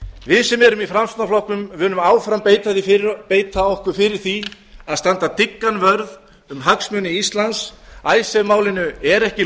við sem erum í framsóknarflokknum munum áfram beita okkur fyrir því að standa dyggan vörð um hagsmuni íslands icesave málinu er ekki